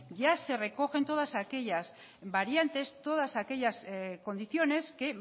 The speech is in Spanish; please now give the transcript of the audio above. ya se recogen todas aquellas variantes todas aquellas condiciones que